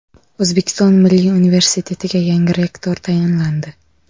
O‘zbekiston Milliy universitetiga yangi rektor tayinlandi.